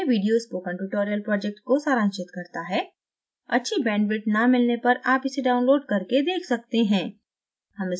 यह video spoken tutorial project को सारांशित करता है अच्छी bandwidth न मिलने पर आप इसे download करके देख सकते हैं